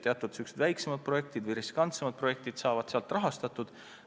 Teatud väiksemad või riskantsemad projektid saavad niimoodi rahastatud.